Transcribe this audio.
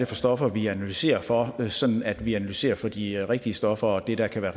for stoffer vi analyserer for sådan at vi analyserer for de rigtige stoffer og det der kan være